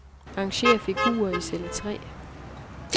Arrangér figurer i celle tre.